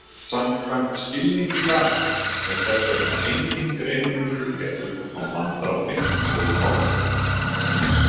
Samkvæmt skilningi laganna er þess vegna enginn greinarmunur gerður á manndrápi og morði.